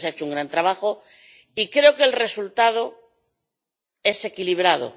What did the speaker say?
Creo que se ha hecho un gran trabajo y creo que el resultado es equilibrado.